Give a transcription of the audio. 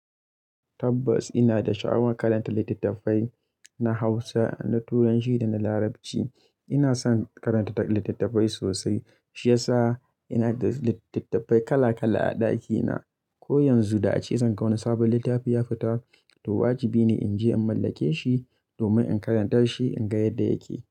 Tabbas ina da sha'awan karanta littattafai na Hausa, na Turanci da na Larabci. Ina son karanta littattafai sosai, shi ya sa ina da littattafai kala kala a ɗakina. Ko yanzu da ace zan ga wani sabon littafi ya fita, to wajibi ne in je in mallake shi domin in karanta shi in ga yadda yake.